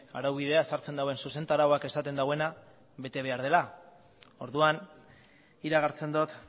araubidea sartzen duen zuzentarauak esaten duena bete behar dela orduan iragartzen dut